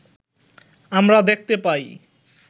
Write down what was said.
আমরা দেখতে পাই